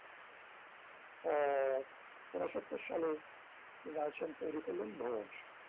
আহ ঊনসত্তর সালে মৃনাল সেন তৈরি করলেন ভুবন সোম